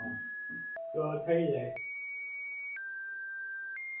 તો થઇ જાય. હા થઇ જાય થઇ જાય.